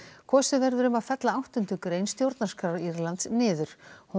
kosið verður um að fella áttundu grein stjórnarskrár Írlands niður hún